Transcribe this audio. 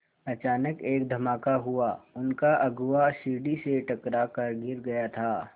अचानक एक धमाका हुआ उनका अगुआ सीढ़ी से टकरा कर गिर गया था